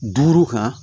Duuru kan